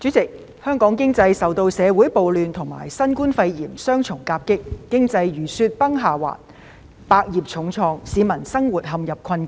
主席，香港經濟受社會暴亂及新冠肺炎雙重夾擊，經濟如雪崩下滑，百業重創，市民生活陷入困境。